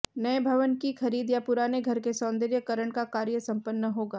नए भवन की खरीद या पुराने घर के सौंदर्य करण का कार्य संपन्न होगा